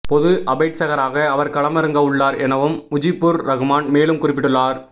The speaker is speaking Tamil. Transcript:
பொது அபேட்சகராக அவர் களமிறங்கவுள்ளார் எனவும் முஜிபுர் ரஹ்மான் மேலும் குறிப்பிட்டுள்ளார்